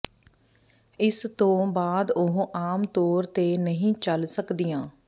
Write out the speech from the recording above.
ਇਸਤੋਂ ਬਾਅਦ ਉਹ ਆਮ ਤੌਰ ਤੇ ਨਹੀਂ ਚੱਲ ਸਕਦੀਆਂ